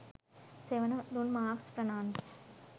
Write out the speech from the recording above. සෙවණ දුන් මාකස් ප්‍රනාන්දු